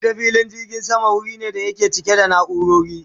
Ita filin jirgin sama wuri ne da yake cike da naurori